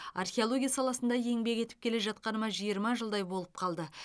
археология саласында еңбек етіп келе жатқаныма жиырма жылдай болып қалды